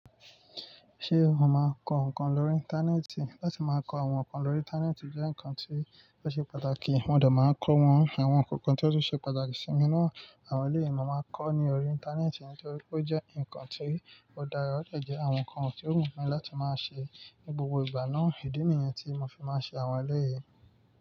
Ṣé òun máa ń kọ ǹkan lórí Íńtánẹ́ẹ̀tì? Láti máa kọ àwọn ǹkan lórí Íńtánẹ́ẹ̀tì jẹ́ ǹkan tí ó ṣe pàtàkì. Wọ́n òdọ̀ máa ń kọ́ wọn. Àwọn ǹkan kan tí ó ṣe pàtàkì sí mi náà, àwọn ilé ìwé máa ń kọ́ ní orí Íńtánẹ́ẹ̀tì nítorí pé ó jẹ́ ǹkan tí ó dára, ó le jẹ́ àwọn ǹkan tí ó wù mí láti máa ṣe. Ni gbogbo ìgbà náà, ìdí nìyẹn tí mo fi máa ń ṣe àwọn ilé yìí.